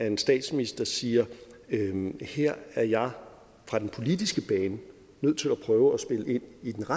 en statsminister siger her er jeg fra den politiske bane nødt til at prøve at spille ind